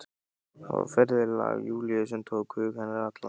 Það var ferðalag Júlíu sem tók hug hennar allan.